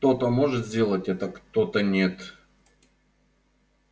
кто-то может сделать это кто-то нет